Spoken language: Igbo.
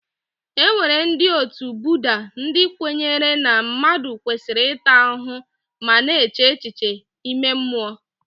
E nwere ndị otu Budda, ndị kwenyere na mmadụ kwesịrị ịta ahụhụ ma na-eche echiche ime mmụọ.